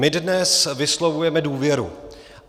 My dnes vyslovujeme důvěru.